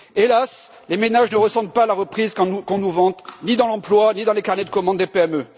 Hélas, les ménages ne ressentent pas la reprise qu'on nous vante, ni dans l'emploi, ni dans les carnets de commande des PME.